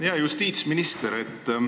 Hea justiitsminister!